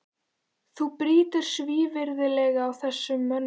Þú brýtur svívirðilega á þessum mönnum!